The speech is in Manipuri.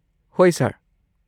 ꯍꯣꯏ ꯁꯔ꯫